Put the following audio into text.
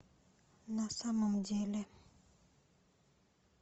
на самом деле